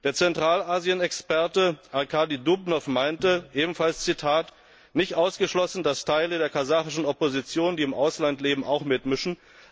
Der Zentralasienexperte Arkadi Dubnow meinte ebenfalls Nicht ausgeschlossen, dass Teile der kasachischen Opposition, die im Ausland leben, auch mitmischen.